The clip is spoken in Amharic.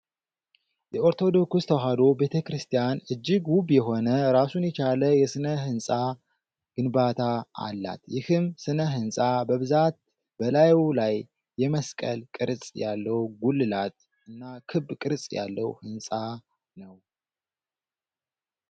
የኦርቶዶክስ ተዋሕዶ ቤተክርስቲያን እጅግ ውብ የሆነ ራሱን የቻለ የስነ-ህንፃ ግንባታ አላት። ይህም ስነ-ህንፃ በብዛት በላዩ ላይ የመስቀል ቅርፅ ያለው ጉልላት እና ክብ ቅርፅ ያለው ህንፃ ነው።